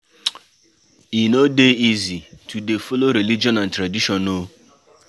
E no dey easy to dey follow religion and tradition o